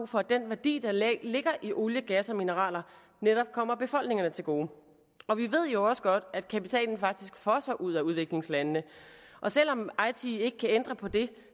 for at den værdi der ligger i olie gas og mineraler netop kommer befolkningerne til gode og vi ved jo også godt at kapitalen faktisk fosser ud af udviklingslandene og selv om eiti ikke kan ændre på det